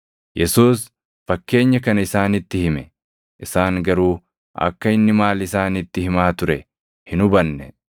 Yesuus fakkeenya kana isaanitti hime; isaan garuu akka inni maal isaanitti himaa ture hin hubanne.